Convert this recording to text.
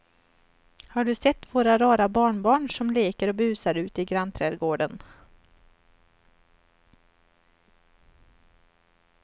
Har du sett våra rara barnbarn som leker och busar ute i grannträdgården!